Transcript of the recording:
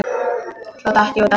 Svo datt ég út af.